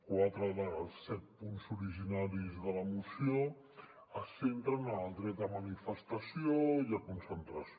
quatre dels set punts originaris de la moció es centren en el dret a manifestació i a concentració